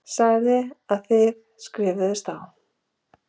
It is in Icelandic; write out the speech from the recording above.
Sagði að þið skrifuðust á.